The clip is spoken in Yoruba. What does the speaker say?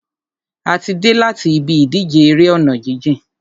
A ti dé láti ibi ìdíje eré ọ̀nà jíjìn.